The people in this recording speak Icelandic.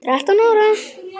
Þrettán ára?